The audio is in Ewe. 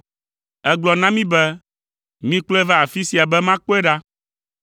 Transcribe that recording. Ègblɔ na mí be, ‘Mikplɔe va afi sia be makpɔe ɖa.’